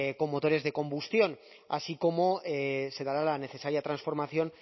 con motores de combustión así como se dará la necesaria transformación